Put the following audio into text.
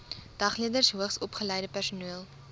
dagleerders hoogsopgeleide personeel